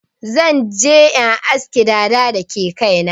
Zan je in aske dada da ke kai na.